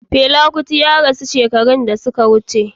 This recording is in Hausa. Fela Kuti ya rasu shekaru da suka wuce